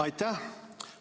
Aitäh!